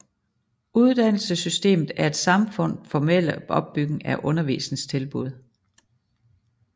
Uddannelsessystemet er et samfunds formelle opbygning af undervisningstilbud